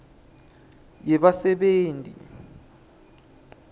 yebasebenti